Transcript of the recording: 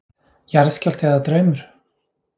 Jarðskjálfti eða draumur?